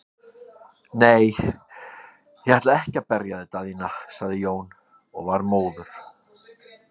Nei, ég ætla ekki að berja þig Daðína, sagði Jón og var móður.